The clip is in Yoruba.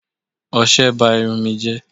Ọṣẹ ba irun ù mi jẹ́